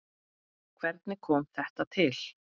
Hvernig kom þetta til?